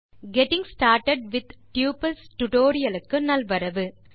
getting started with tuples tutorial க்கு நல்வரவு